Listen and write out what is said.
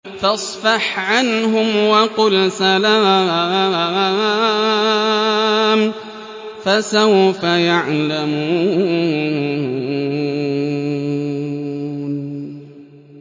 فَاصْفَحْ عَنْهُمْ وَقُلْ سَلَامٌ ۚ فَسَوْفَ يَعْلَمُونَ